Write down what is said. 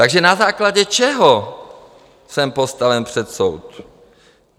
Takže na základě čeho jsem postaven před soud?